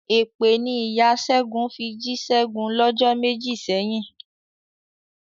Èpè ni ìya Ṣẹ́gun fi jí Ṣẹ́gun lọ́jọ́ méjì sẹ́yìn.